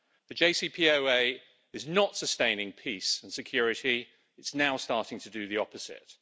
The JCPOA is not sustaining peace and security. it is now starting to do the opposite.